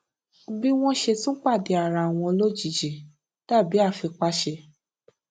bí wón ṣe tún pàdé ara wọn lójijì dàbí àfipáṣe